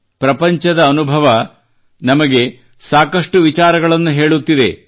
ಪ್ರಪಂಚದ ಅನುಭವ ನಮಗೆ ಸಾಕಷ್ಟು ವಿಚಾರಗಳನ್ನು ಹೇಳುತ್ತಿದೆ